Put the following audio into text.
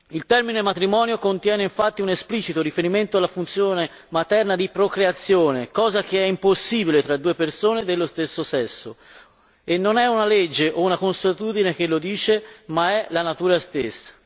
Il termine matrimonio contiene infatti un esplicito riferimento alla funzione materna di procreazione, cosa che è impossibile fra due persone dello stesso sesso e non è una legge o una consuetudine che lo dice, ma è la natura stessa.